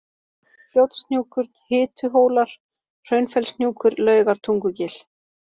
Fljótshnjúkur, Hituhólar, Hraunfellshnjúkur, Laugartungugil